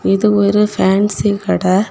இது ஒரு பேன்சி கட.